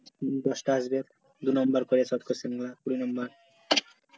দশটা আসবে দু নাম্বার করে short question গুলা কুড়ি নাম্বার